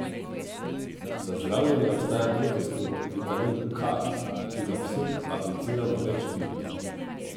Za zdravljenje obstaja protistrup, vitamin K, ki ga psu apliciramo več dni.